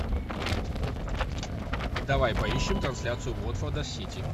давай поищем трансляцию уотфорда с сити